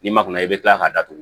N'i ma kuna i bɛ kila k'a datugu